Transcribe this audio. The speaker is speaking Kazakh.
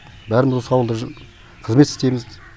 бәріміз осы ауылда қызмет істейміз